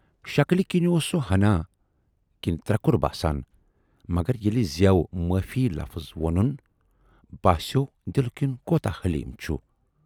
شکلہٕ کِنۍ اوس سُہ ہَنا کنہٕ ترکُر باسان مگر ییلہِ زیوِ 'معافی' لفٕظ وونُن، باسیوو دِلہٕ کِنۍ کوٗتاہ حلیم چھُ